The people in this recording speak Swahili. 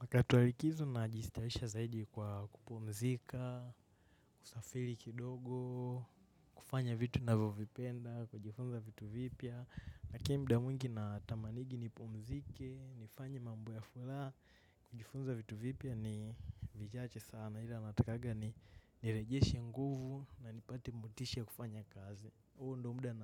Wakati wa likizo najistarehesha zaidi kwa kupumzika, kusafiri kidogo, kufanya vitu navyovipenda, kujifunza vitu vipya. Lakini mda mwingi natamanigi nipumzike, nifanye mambo ya furaha, kujifunza vitu vipya ni vichache sana. Ila natakaga ni nirejeshi nguvu na nipate motisha ya kufanya kazi. Huo ndio muda